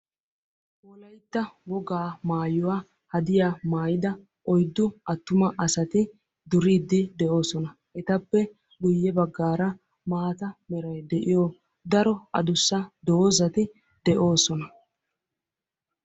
Wolaytta wogaa maayuwa hadiyaa maayida oyddu attuma asati duriidi de'oosona. Etappe guye baggaara maataa meray de'iyo daro addussa doozati de'oosona.